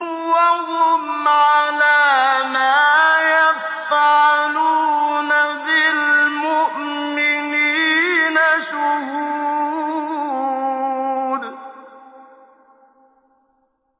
وَهُمْ عَلَىٰ مَا يَفْعَلُونَ بِالْمُؤْمِنِينَ شُهُودٌ